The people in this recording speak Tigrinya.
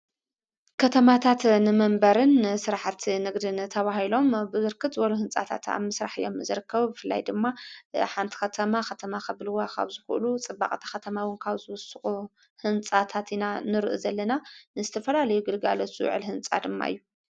ከተማታት ንመንበርን ሥራሕቲ ንግድን ተዋሂሎም ብርክት ዝበሉ ሕንጻታት ኣምሥራሕእዮም ምዘረከቡ ፍላይ ድማ ሓንቲ ኸተማ ኸተማ ኽብልዎ ኻውዝዂእሉ ጽባቕታ ኸተማዊን ካውዝ ወስቑ ሕንጻታትኢና ንርእ ዘለና ንስተፈላለይግድጋለ ስውዕል ሕንጻ ድማእዩ::